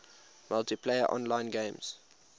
multiplayer online games